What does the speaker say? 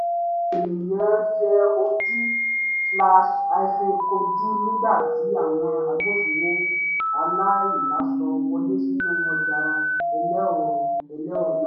àwọn ènìyàn yẹ ojú-kojú nígbà tí àwọn agbófinró aláìláṣọ wọlé sínú ọjà elérò elérò náà